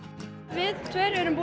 við tveir erum